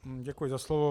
Děkuji za slovo.